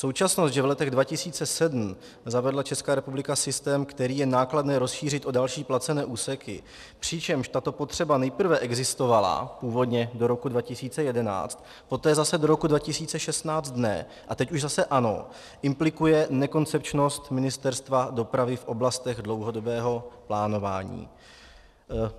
Současnost, že v letech 2007 zavedla Česká republika systém, který je nákladné rozšířit o další placené úseky - přičemž tato potřeba nejprve existovala původně do roku 2011, poté zase do roku 2016 ne, a teď už zase ano - implikuje nekoncepčnost Ministerstva dopravy v oblastech dlouhodobého plánování.